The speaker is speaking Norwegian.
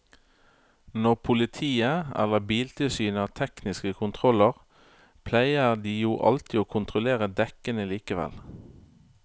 Når politiet eller biltilsynet har tekniske kontroller pleier de jo alltid å kontrollere dekkene likevel.